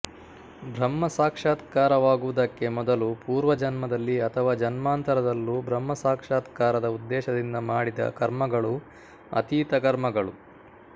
ಬ್ರಹ್ಮಸಾಕ್ಷಾತ್ಕಾರವಾಗುವುದಕ್ಕೆ ಮೊದಲು ಪೂರ್ವಜನ್ಮದಲ್ಲಿ ಅಥವಾ ಜನ್ಮಾಂತರದಲ್ಲೂ ಬ್ರಹ್ಮಸಾಕ್ಷಾತ್ಕಾರದ ಉದ್ದೇಶದಿಂದ ಮಾಡಿದ ಕರ್ಮಗಳು ಅತೀತ ಕರ್ಮಗಳು